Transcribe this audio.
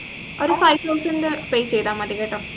ഒരു five thousand pay ചെയ്ത മതി കേട്ടോ